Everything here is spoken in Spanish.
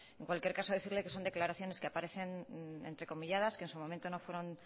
en cualquier caso decirle que son declaraciones que aparecen entrecomilladas que en su momento no fueron